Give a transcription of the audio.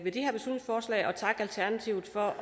takke alternativet for